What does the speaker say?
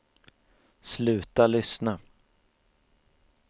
sluta lyssna